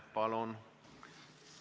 Palun!